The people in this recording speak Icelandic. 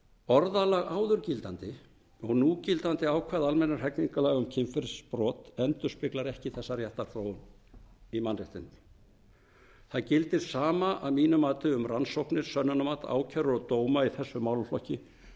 orðalag áður gildandi og núgildandi ákvæða almennra hegningarlaga um kynferðisbrot endurspeglar ekki þessa réttarþróun í mannréttindum það gildir sama að mínu mati um rannsóknir sönnunarmat ákærur og dóma í þessum málaflokki eins